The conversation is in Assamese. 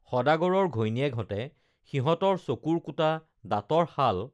সদাগৰৰ ঘৈণীয়েকহঁতে সিহঁতৰ চকুৰ কুটা দাঁতৰ শাল